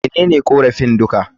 Menene korafin duka?